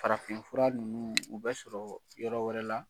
Farafinf fura ninnu, u bɛ sɔrɔ yɔrɔ wɛrɛ la.